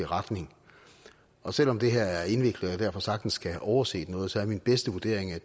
retning og selv om det her er indviklet og jeg derfor sagtens kan have overset noget er min bedste vurdering at